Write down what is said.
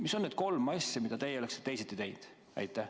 Mis on need kolm asja, mida teie oleksite teisiti teinud?